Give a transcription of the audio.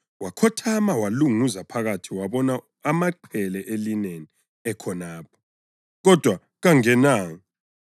Wakhothama walunguza phakathi wabona amaqhele elineni ekhonapho, kodwa kangenanga.